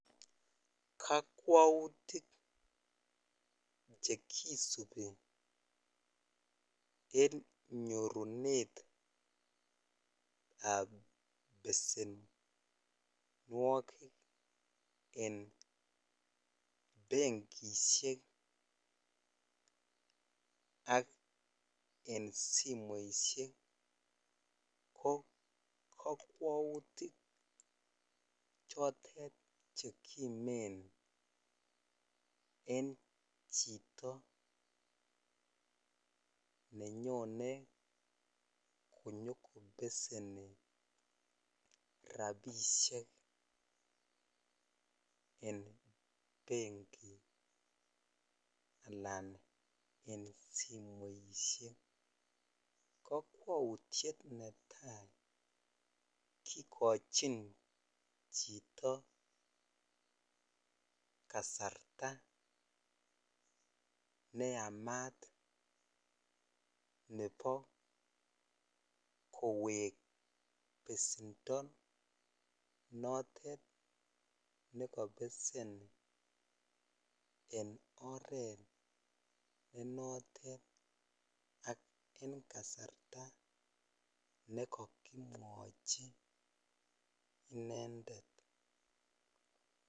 Kakwautik chekisubi en nyorunetab besemmnwokik en bankishek ak en simoishek ko kakwautik en chito nenyone konyokobeseni rabishek en benjit alan en simoit ko kakwautyet netai kikochin chito kasarta neamat nebo kowek besendo notet nekobesen en oret ne notet ak en kasarta nekakikochi intended.